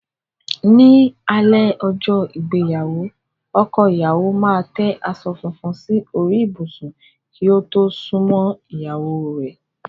Ní alé ọjọ́ ìgbéyàwó, ọkọ ìyáwo máa tẹ aṣọ fúnfún sí orí ìbùsù kí ó tó súnmọ́ ìyáwó rẹ̀.